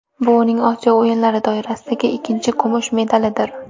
Bu uning Osiyo o‘yinlari doirasidagi ikkinchi kumush medalidir.